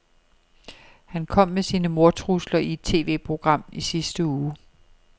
Han kom med sine mordtrusler i et TVprogram i sidste uge.